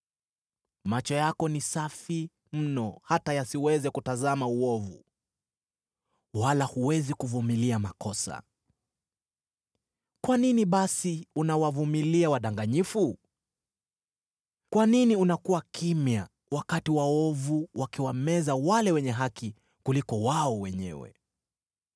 Macho yako ni safi mno hata yasiweze kuutazama uovu, wala huwezi kuvumilia makosa. Kwa nini basi unawavumilia wadanganyifu? Kwa nini unakuwa kimya wakati waovu wanawameza wale wenye haki kuliko wao wenyewe?